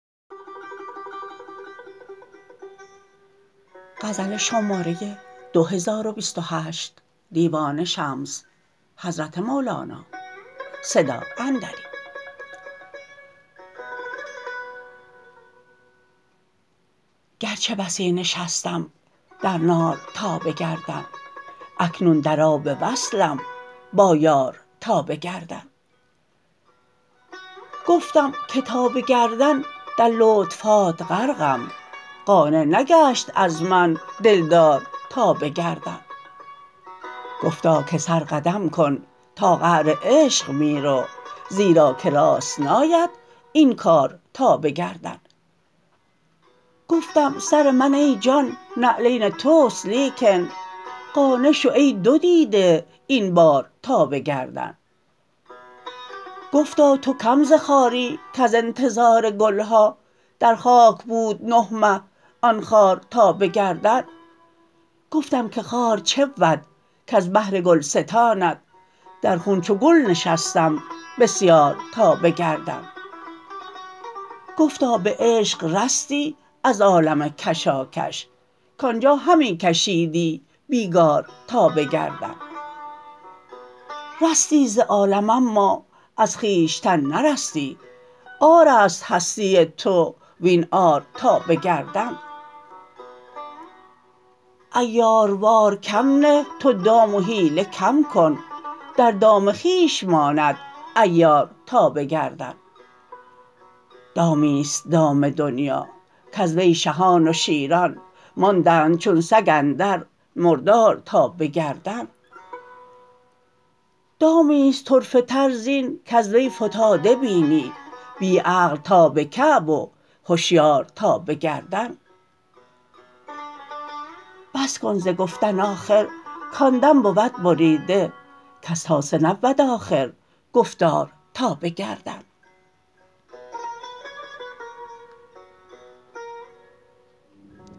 گرچه بسی نشستم در نار تا به گردن اکنون در آب وصلم با یار تا به گردن گفتم که تا به گردن در لطف هات غرقم قانع نگشت از من دلدار تا به گردن گفتا که سر قدم کن تا قعر عشق می رو زیرا که راست ناید این کار تا به گردن گفتم سر من ای جان نعلین توست لیکن قانع شو ای دو دیده این بار تا به گردن گفتا تو کم ز خاری کز انتظار گل ها در خاک بود نه مه آن خار تا به گردن گفتم که خار چه بود کز بهر گلستانت در خون چو گل نشستم بسیار تا به گردن گفتا به عشق رستی از عالم کشاکش کان جا همی کشیدی بیگار تا به گردن رستی ز عالم اما از خویشتن نرستی عار است هستی تو وین عار تا به گردن عیاروار کم نه تو دام و حیله کم کن در دام خویش ماند عیار تا به گردن دامی است دام دنیا کز وی شهان و شیران ماندند چون سگ اندر مردار تا به گردن دامی است طرفه تر زین کز وی فتاده بینی بی عقل تا به کعب و هشیار تا به گردن بس کن ز گفتن آخر کان دم بود بریده کز تاسه نبود آخر گفتار تا به گردن